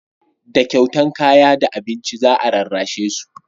da kyautan kaya da abinci za a rarrashe su